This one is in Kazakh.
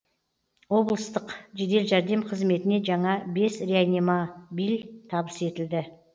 облыстық жедел жәрдем қызметіне жаңа бес реанимабиль табыс етілді